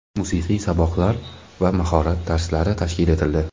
musiqiy saboqlar va "Mahorat dars"lari tashkil etildi.